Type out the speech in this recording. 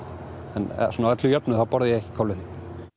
að öllu jöfnu borða ég samt ekki kolvetni